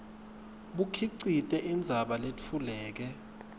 bukhicite indzaba letfuleke